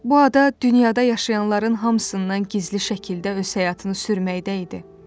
Bu ada dünyada yaşayanların hamısından gizli şəkildə öz həyatını sürməkdə idi.